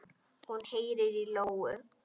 Hún heyrir í lóu.